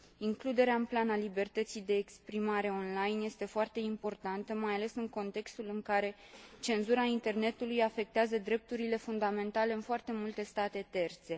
Includerea în plan a libertății de exprimare online este foarte importantă, mai ales în contextul în care cenzura internetului afectează drepturile fundamentale în foarte multe state terțe.